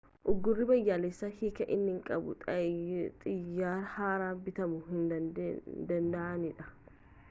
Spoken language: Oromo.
uggurri biyyaalessaa hiiki inni qabu xayyaarri haaraan bitamu hin danda'aniidha